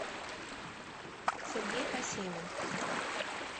сергей посемин